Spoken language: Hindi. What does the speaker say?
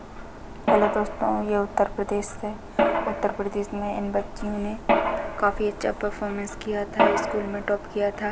हेल्लो दोस्तों ये उत्तर प्रदेश से उत्तर प्रदेश में इन बच्चियों ने काफ़ी अच्छा परफॉरमेंस किया था स्कूल में टॉप किया था।